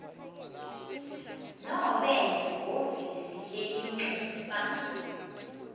nobe lihhovisi lelincusa